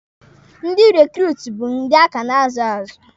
Ndị rekruutu bụ ndị a ka na-azu azụ.